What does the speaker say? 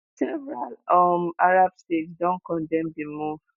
several um arab states don condemn di move